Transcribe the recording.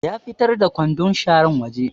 Ya fitar da kwandun sharar waje